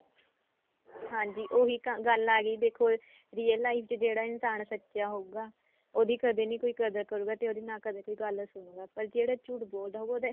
ਹਾਂਜੀ ਉਹੀ ਤਾਂ ਗੱਲ ਆ ਗਈ ਦੇਖੋ real life ਚ ਜਿਹੜਾ ਇਨਸਾਨ ਸੱਚਾ ਹੋਊਗਾ ਉਹਦੀ ਕਦੇ ਨੀ ਕੋਈ ਕਦਰ ਕਰੂਗਾ ਤੇ ਨਾ ਉਹਦੇ ਨਾ ਕਦੇ ਕੋਈ ਗੱਲ ਸੁਨੂੰ ਗਾ ਪਰ ਜਿਹੜਾ ਝੂਠ ਬੋਲਦਾ ਹੋਊਗਾ ਉਹਦਾ